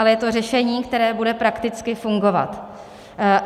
Ale je to řešení, které bude prakticky fungovat.